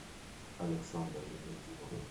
александр евдокимов